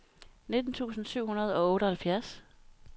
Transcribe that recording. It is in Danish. nitten tusind syv hundrede og otteoghalvfjerds